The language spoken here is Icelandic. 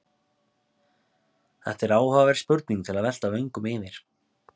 Þetta er áhugaverð spurning til að velta vöngum yfir.